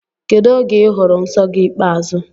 Kedụ oge I hụrụ nsọ gị ikpeazụ?